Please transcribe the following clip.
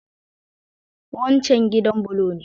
Waccan gidan bulo ne?